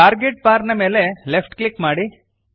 target bar ನ ಮೇಲೆ left click ಮಾಡಿರಿ